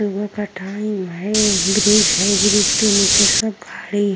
सुबह का टाइम है। ब्रिज है ब्रिज के नीचे सब खड़े --